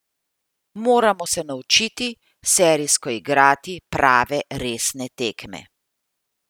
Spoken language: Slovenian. Moramo se naučiti serijsko igrati prave, resne tekme.